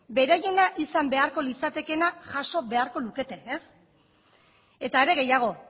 beraiena izan beharko litzatekeena jaso beharko lukete ez eta are gehiago